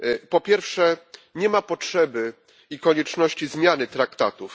Po pierwsze nie ma potrzeby i konieczności zmiany traktatów.